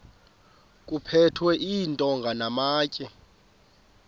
kuphethwe iintonga namatye